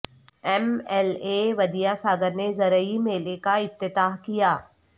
M L A Vidya Sagar نے زرعی میلہ کا افتتاح کیا